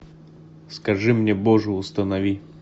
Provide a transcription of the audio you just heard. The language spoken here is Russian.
скажи мне боже установи